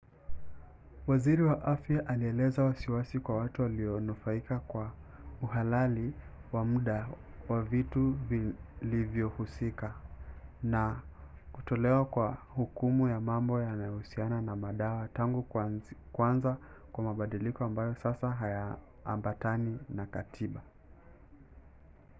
waziri wa afya alieleza wasiwasi kwa watu walionufaika kwa uhalali wa mda wa vitu vilivyohusika na kutolewa kwa hukumu ya mambo yanayohusiana na madawa tangu kuanza kwa mabadiliko ambayo sasa hayaambatani na katiba